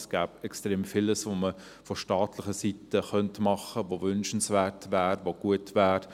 Es gäbe extrem vieles, was man von staatlicher Seite her machen könnte, das wünschenswert wäre, das gut wäre.